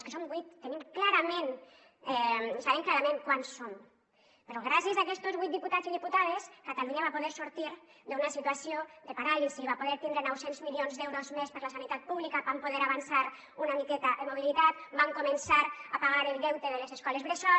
que som vuit sabem clarament quants som però gràcies a aquestos vuit diputats i diputades catalunya va poder sortir d’una situació de paràlisi va poder tindre nou cents milions d’euros més per la sanitat pública vam poder avançar una miqueta en mobilitat vam començar a pagar el deute de les escoles bressol